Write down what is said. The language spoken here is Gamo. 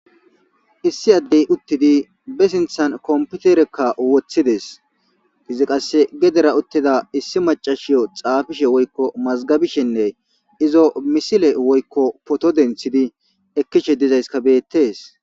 issi addey uttidi be sinthan komputerekka woththides izi qasse gedera uttida issi macashiyo xaafishe woykko mazgabishenne izo misile woykko poto denthidi ekkishe dizayska beettees